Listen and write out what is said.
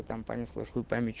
там понеслось хуй пойми что